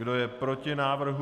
Kdo je proti návrhu?